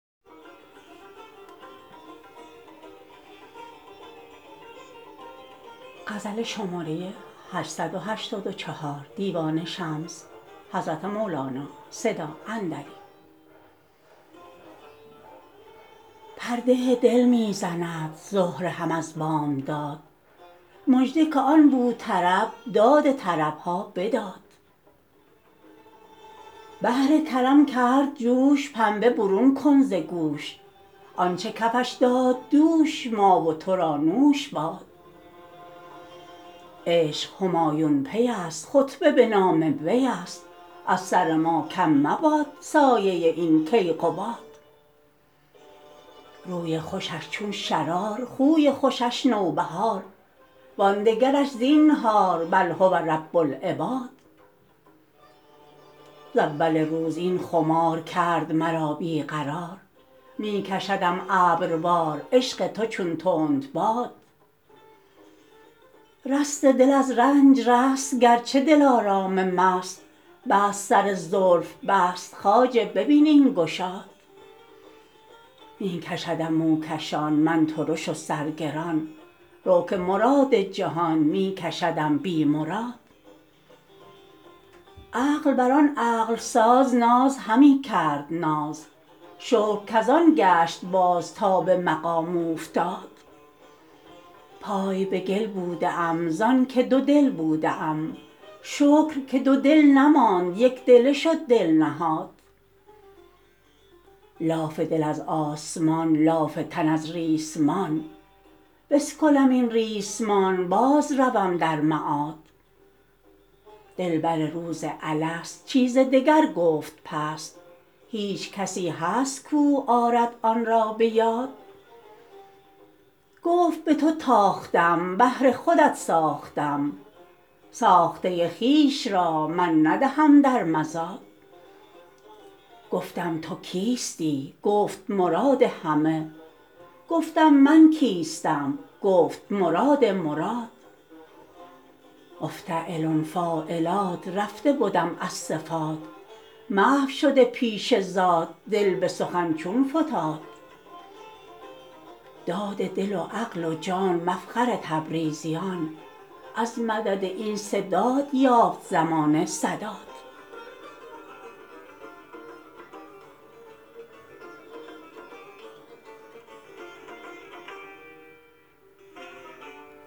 پرده دل می زند زهره هم از بامداد مژده که آن بوطرب داد طرب ها بداد بحر کرم کرد جوش پنبه برون کن ز گوش آنچ کفش داد دوش ما و تو را نوش باد عشق همایون پیست خطبه به نام ویست از سر ما کم مباد سایه این کیقباد روی خوشش چون شرار خوی خوشش نوبهار وان دگرش زینهار او هو رب العباد ز اول روز این خمار کرد مرا بی قرار می کشدم ابروار عشق تو چون تندباد دست دل از رنج رست گرچه دلارام مست بست سر زلف بست خواجه ببین این گشاد می کشدم موکشان من ترش و سرگران رو که مراد جهان می کشدم بی مراد عقل بر آن عقل ساز ناز همی کرد ناز شکر کز آن گشت باز تا به مقام اوفتاد پای به گل بوده ام زانک دودل بوده ام شکر که دودل نماند یک دله شد دل نهاد لاف دل از آسمان لاف تن از ریسمان بگسلم این ریسمان بازروم در معاد دلبر روز الست چیز دگر گفت پست هیچ کسی هست کو آرد آن را به یاد گفت به تو تاختم بهر خودت ساختم ساخته خویش را من ندهم در مزاد گفتم تو کیستی گفت مراد همه گفتم من کیستم گفت مراد مراد مفتعلن فاعلات رفته بدم از صفات محو شده پیش ذات دل به سخن چون فتاد داد دل و عقل و جان مفخر تبریزیان از مدد این سه داد یافت زمانه سداد